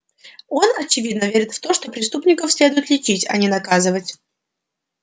он очевидно верит в то что преступников следует лечить а не наказывать